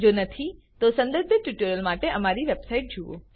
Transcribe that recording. જો નથી તો સંબંધિત ટ્યુટોરિયલ્સ માટે અમારી વેબસાઇટ જુઓ